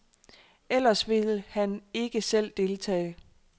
Ellers vil han ikke selv deltage.